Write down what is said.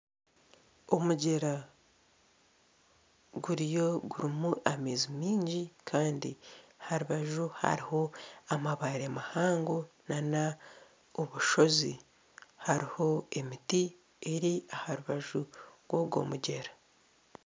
Omugyera guriyo gurimu amaizi mingi Kandi aha rubaju hariho amabaare mahango n'obushozi hariho emiti eri aha rubaju rwagwo mugyera